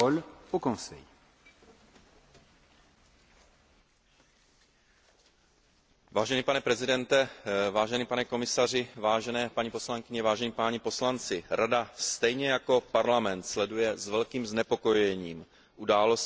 Vážený pane předsedo, vážený pane komisaři, vážené paní poslankyně, vážení páni poslanci, Rada stejně jako Parlament sleduje s velkým znepokojením události, k nimž dochází v Moldavské republice v návaznosti na parlamentní volby konané dne